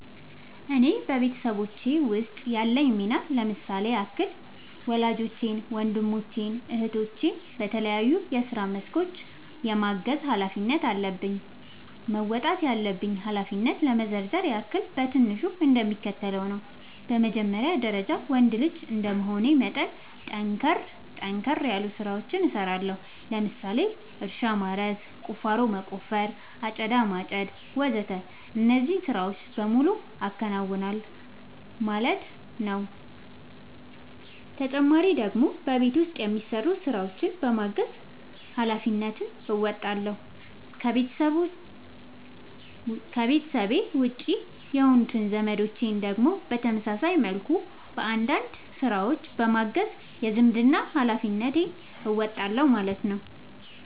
እኔ በቤተሰቦቼ ውስጥ ያለኝ ሚና ለምሳሌ ያክል ወላጆቼን ወንድሞቼን እህቶቼን በተለያዩ የስራ መስኮች የማገዝ ኃላፊነት አለብኝ። መወጣት ያለብኝን ኃላፊነት ለመዘርዘር ያክል በትንሹ እንደሚከተለው ነው በመጀመሪያ ደረጃ ወንድ ልጅ እንደመሆኔ መጠን ጠንከር ጠንከር ያሉ ስራዎችን እሰራለሁ ለምሳሌ እርሻ ማረስ፣ ቁፋሮ መቆፈር፣ አጨዳ ማጨድ ወዘተ እነዚህን ስራዎች በሙሉ አከናውናል ማለት ነው ተጨማሪ ደግሞ በቤት ውስጥ የሚሰሩ ስራዎችን በማገዝ ሃላፊነትን እንወጣለሁ። ከቤተሰቤ ውጪ የሆኑት ዘመዶቼን ደግሞ በተመሳሳይ መልኩ አንዳንድ ስራዎችን በማገዝ የዝምድናዬን ሀላፊነት እወጣለሁ ማለት ነው